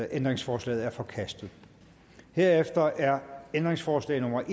ændringsforslaget er forkastet herefter er ændringsforslag nummer